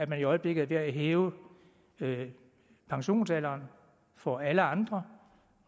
at man i øjeblikket er ved at hæve pensionsalderen for alle andre